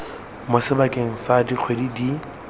mo sebakeng sa dikgwedi di